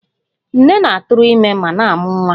Nne na-atụrụ ime ma na-amụ nwa